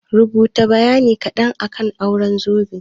Rubuta bayani kaɗan akan auren zobe?